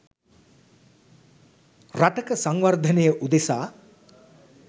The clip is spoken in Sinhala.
රටක සංවර්ධනය උදෙසා